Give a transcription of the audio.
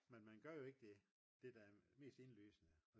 men man gør jo ikke det der er mest indlysende